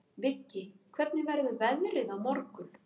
Viggi, hvernig verður veðrið á morgun?